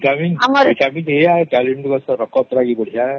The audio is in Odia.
vitamin A ଅଛେ